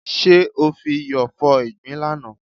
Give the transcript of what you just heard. Ṣé o fi iyọ̀ fọ ìgbín lánàá?